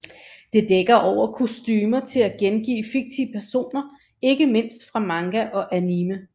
Det dækker over kostumer til at gengive fiktive personer ikke mindst fra manga og anime